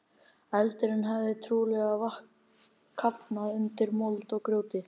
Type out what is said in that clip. Eldurinn hafði trúlega kafnað undir mold og grjóti.